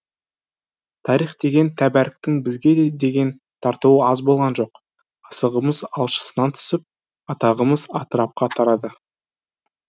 тарих деген тәбәріктің бізге деген тартуы аз болған жоқ асығымыз алшысынан түсіп атағымыз атырапқа тарады